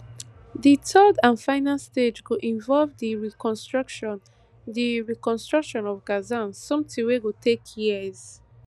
di third and final stage go involve di reconstruction di reconstruction of gaza somtin wey go take years